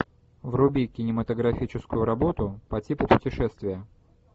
вруби кинематографическую работу по типу путешествия